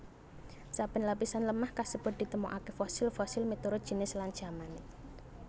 Saben lapisan lemah kasebut ditemokaké fosil fosil miturut jinis lan jamané